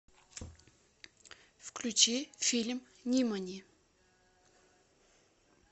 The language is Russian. включи фильм нимани